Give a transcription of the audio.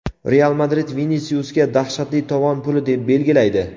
"Real Madrid" Vinisiusga dahshatli tovon puli belgilaydi.